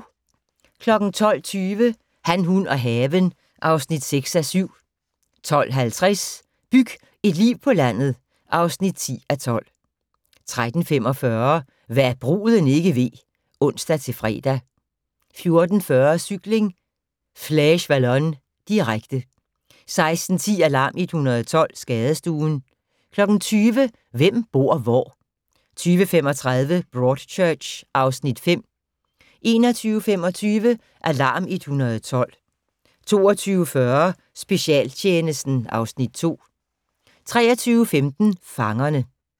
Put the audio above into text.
12:20: Han, hun og haven (6:7) 12:50: Byg et liv på landet (10:12) 13:45: Hva' bruden ikke ved (ons-fre) 14:40: Cykling: Fleche-Wallonne, direkte 16:10: Alarm 112 - Skadestuen 20:00: Hvem bor hvor? 20:35: Broadchurch (Afs. 5) 21:25: Alarm 112 22:40: Specialtjenesten (Afs. 2) 23:15: Fangerne